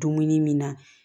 Dumuni min na